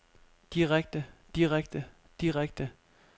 direkte direkte direkte